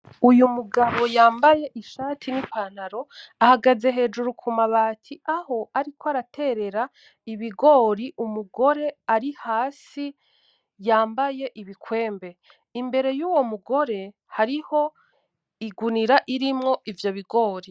Uyo mugabo yambaye ishati n'ipantaro ahagaze hejuru kumabati, aho ariko araterera ibigori umugore ari hasi yambaye ibikwembe. Imbere yuwo mugore hariho igunira irimwo ivyo bigori.